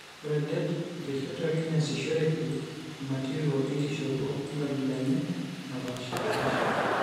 Ore det, oteshetuaki neasishoreki imatirio enkishopo enkabila enye naapaashipaasha.